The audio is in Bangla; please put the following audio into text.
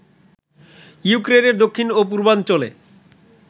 ইউক্রেনের দক্ষিণ ও পূর্বাঞ্চলে